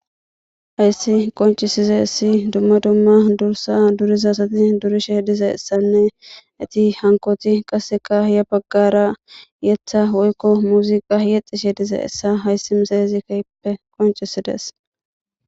Haysi qoncisizaysi dumma dumma dursa durizaysa asati durishe dizaysanne eti hankoyti qasekka ya bagara yetha woyko muzuqa yexishe dizaysa haysi misilezi kehipe qoncisides